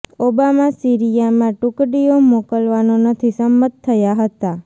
Obama Syria માં ટુકડીઓ મોકલવાનો નથી સંમત થયા હતા